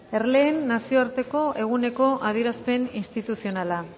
erleen nazioarteko eguneko adierazpen instituzionala